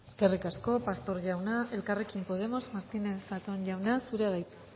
eskerrik asko pastor jauna elkarrekin podemos martínez zatón jauna zurea da hitza